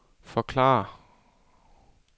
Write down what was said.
forklare